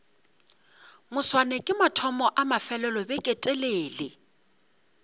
moswane ke mathomo a mafelelobeketelele